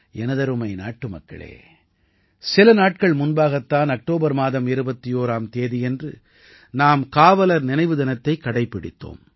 எனதருமை நாட்டுமக்களே சில நாட்கள் முன்பாகத் தான் அக்டோபர் மாதம் 21ஆம் தேதியன்று நாம் காவலர் நினைவு தினத்தைக் கடைப்பிடித்தோம்